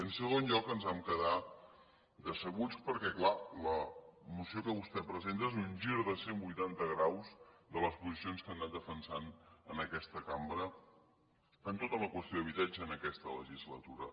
i en segon lloc ens vam quedar decebuts perquè clar la moció que vostè presenta és un gir de cent vuitanta graus de les posicions que han anat defensant en aquesta cambra en tota la qüestió d’habitatge en aquesta legislatura